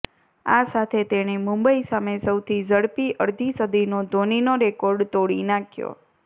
આ સાથે તેણે મુંબઈ સામે સૌથી ઝડપી અડધી સદીનો ધોનીનો રેકોર્ડ તોડી નાખ્યો